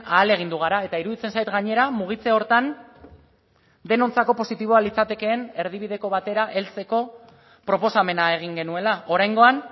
ahalegindu gara eta iruditzen zait gainera mugitze horretan denontzako positiboa litzatekeen erdibideko batera heltzeko proposamena egin genuela oraingoan